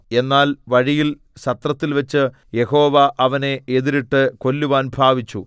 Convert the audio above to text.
എന്നാൽ വഴിയിൽ സത്രത്തിൽവച്ച് യഹോവ അവനെ എതിരിട്ട് കൊല്ലുവാൻ ഭാവിച്ചു